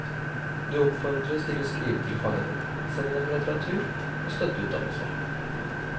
Du oppfordres til å skrive til fangene, sende dem litteratur og støtteuttalelser.